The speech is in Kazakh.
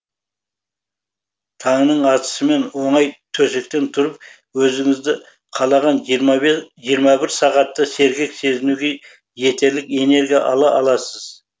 таңның атысымен оңай төсектен тұрып өзіңізді қалаған жиырма бір сағатта сергек сезінуге жетерлік энергия ала аласыз